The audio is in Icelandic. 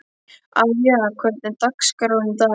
Avía, hvernig er dagskráin í dag?